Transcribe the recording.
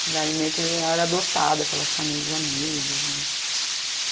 Que daí meio que eu era adotada pelas famílias dos amigos, né?